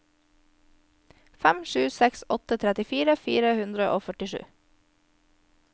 fem sju seks åtte trettifire fire hundre og førtisju